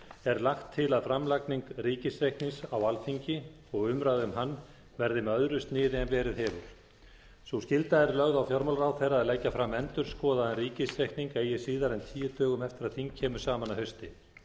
er lagt til að framlagning ríkisreiknings á alþingi og umræða um hann verði með öðru sniði en verið hefur sú skylda er lögð á fjármálaráðherra að leggja fram endurskoðaðan ríkisreikning eigi síðar en tíu dögum eftir að þing kemur saman að hausti